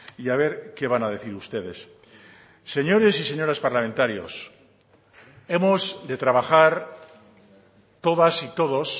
y a ver que van a decir ustedes señores y señoras parlamentarios hemos de trabajar todas y todos